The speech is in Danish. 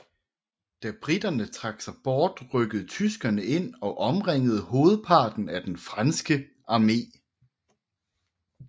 Da briterne trak sig bort rykkede tyskerne ind og omringede hovedparten af den franske armé